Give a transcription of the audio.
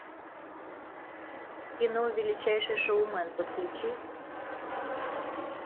кино величайший шоумен подключи